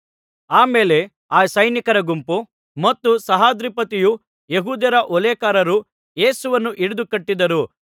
ಆಮೇಲೆ ಆ ಸೈನಿಕರ ಗುಂಪು ಮತ್ತು ಸಹಸ್ರಾಧಿಪತಿಯೂ ಯೆಹೂದ್ಯರ ಓಲೇಕಾರರೂ ಯೇಸುವನ್ನು ಹಿಡಿದು ಕಟ್ಟಿದರು